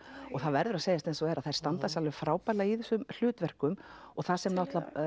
og það verður að segjast eins og er að þær standa sig frábærlega í þessum hlutverkum og það sem